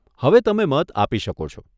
હવે તમે મત આપી શકો છો.